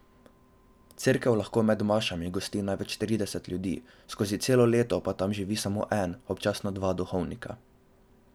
Cerkev lahko med mašami gosti največ trideset ljudi, skozi celo leto pa tam živi samo en, občasno dva duhovnika.